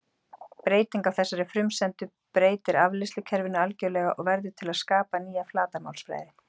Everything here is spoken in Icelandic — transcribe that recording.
Breyting á þessari frumsendu breytir afleiðslukerfinu algjörlega og verður til að skapa nýja flatarmálsfræði.